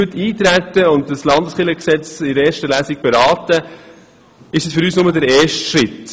Wenn wir heute auf diese Debatte eintreten und das Landeskirchengesetz in der ersten Lesung beraten, ist dies für uns nur der erste Schritt.